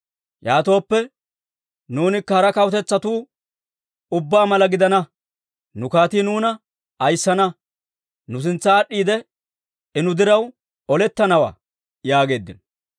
Yaatooppe, nuunikka hara kawutetsatuu ubbaa mala gidana. Nu kaatii nuuna ayissana; nu sintsa aad'd'iide, I nu diraw olettanawaa» yaageeddino.